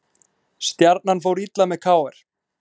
Stjarnan fór illa með KR